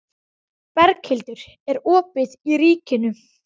Ég fann að ég var kominn í erfiða klípu.